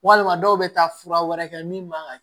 Walima dɔw bɛ taa fura wɛrɛ kɛ min man ka